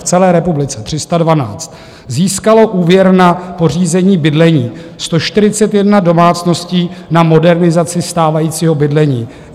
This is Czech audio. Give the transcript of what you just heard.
V celé republice 312 získalo úvěr na pořízení bydlení, 141 domácností na modernizaci stávajícího bydlení.